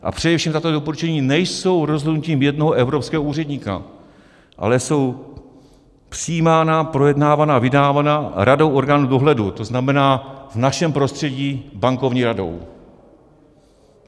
A především, tato doporučení nejsou rozhodnutím jednoho evropského úředníka, ale jsou přijímána, projednávána, vydávána radou orgánů dohledu, to znamená v našem prostředí Bankovní radou.